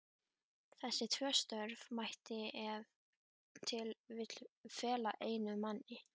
Þessi tvö störf mætti ef til vill fela einum manni.